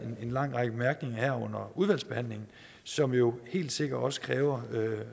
en lang række bemærkninger her under behandlingen som jo helt sikkert også kræver